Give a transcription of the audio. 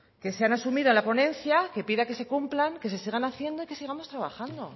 que sean asumidos en la ponencia que pida que se cumplan que se sigan haciendo y que sigamos trabajando